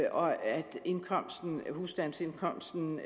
og at husstandsindkomsten